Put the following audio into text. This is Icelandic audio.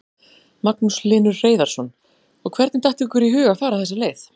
Magnús Hlynur Hreiðarsson: Og hvernig datt ykkur í hug að fara þessa leið?